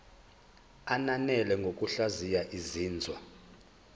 ananele ngokuhlaziya izinzwa